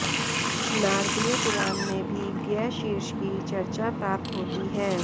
नारदीय पुराण में भी गयशीर्ष की चर्चा प्राप्त होती है